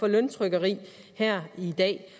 løntrykkeri her i dag